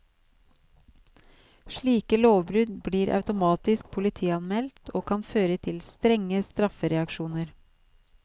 Slike lovbrudd blir automatisk politianmeldt og kan føre til strenge straffereaksjoner.